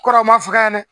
Kɔrɔw ma fɔ ka ɲɛnɛ